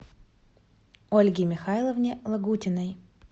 ольге михайловне лагутиной